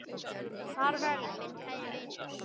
Far vel, minn kæri vinur.